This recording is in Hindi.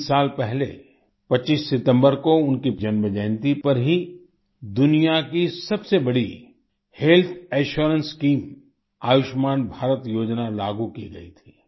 तीन साल पहले 25 सितम्बर को उनकी जन्मजयंती पर ही दुनिया की सबसे बड़ी health assurance scheme Ayushman Bharat योजना लागू की गई थी